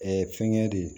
fɛngɛ de